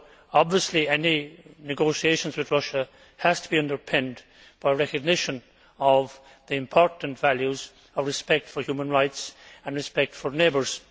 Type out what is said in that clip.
Obviously, any negotiations with Russia have to be underpinned by a recognition of the important values of respect for human rights and respect for neighbours.